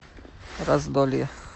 раздолье